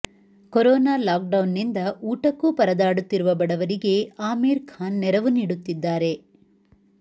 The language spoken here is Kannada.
ಕೊರೊನಾ ಲಾಕ್ ಡೌನ್ ನಿಂದ ಊಟಕ್ಕೂ ಪರದಾಡುತ್ತಿರುವ ಬಡವರಿಗೆ ಆಮೀರ್ ಖಾನ್ ನೆರವು ನೀಡುತ್ತಿದ್ದಾರೆ